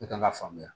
Ne kan ka faamuya